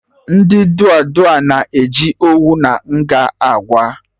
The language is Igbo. Ndị dụa dụa na-eji owu na nga akwa